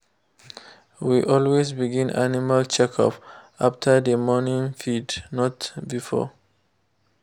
we always begin animal check-up after the morning feed not before.